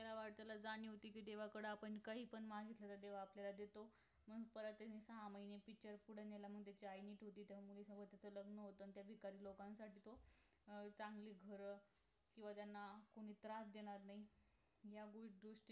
किती देवाकडं आपण काहीपण मागितलं तर देव आपल्याला देतो म्हणून त्यांनी परत सहा महिने picture पुढे नेला मग त्याची आई ठीक होते त्या मुली सोबत त्याचं लग्न होत आणि त्या भिकारी लोकांसाठी तो चांगली घर किंवा त्यांना कोणी त्रास देणार नाही या